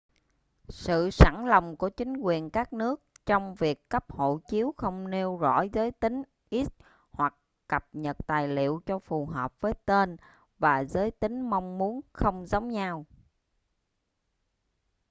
sự sẵn lòng của chính quyền các nước trong việc cấp hộ chiếu không nêu rõ giới tính x hoặc cập nhật tài liệu cho phù hợp với tên và giới tính mong muốn không giống nhau